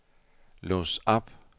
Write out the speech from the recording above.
lås op